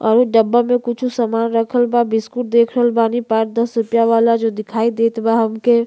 और उ डब्बा मे कुछ सामान रखल बा। बिस्कुट देख रहल बानी पांच दस रुपया वाला जो दिखई देत बा हमके।